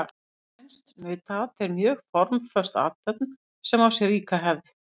Spænskt nautaat er mjög formföst athöfn sem á sér ríka hefð.